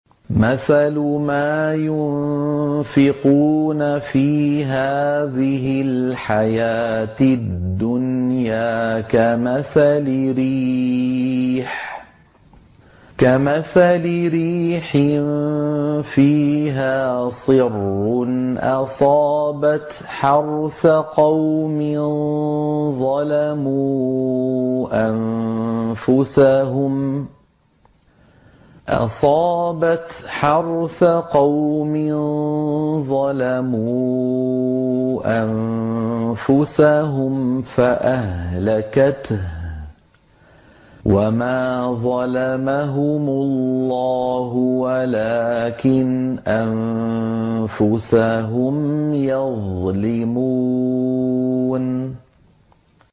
مَثَلُ مَا يُنفِقُونَ فِي هَٰذِهِ الْحَيَاةِ الدُّنْيَا كَمَثَلِ رِيحٍ فِيهَا صِرٌّ أَصَابَتْ حَرْثَ قَوْمٍ ظَلَمُوا أَنفُسَهُمْ فَأَهْلَكَتْهُ ۚ وَمَا ظَلَمَهُمُ اللَّهُ وَلَٰكِنْ أَنفُسَهُمْ يَظْلِمُونَ